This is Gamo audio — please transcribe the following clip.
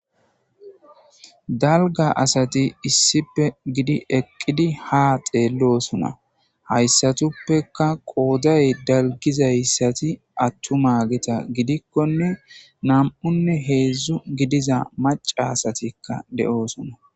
dalga asati issippe gidi eqqidi ha xeellosona hayssatuppeka qooday dalgizayssati attuma gita gidikkone nam7unne heedzdzu gidiza maca asatikka de7oosona